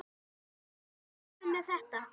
Við vorum alveg með þetta.